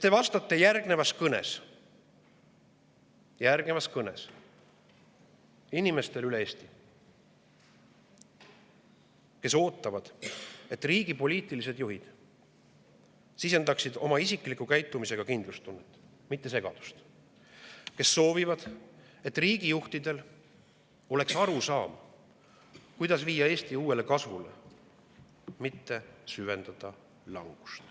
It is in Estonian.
Te vastate järgnevas kõnes inimestele üle Eesti, kes ootavad, et riigi poliitilised juhid sisendaksid oma isikliku käitumisega kindlustunnet, mitte segadust, ning kes soovivad, et riigijuhtidel oleks arusaam, kuidas viia Eesti uuesti kasvule, mitte süvendada langust.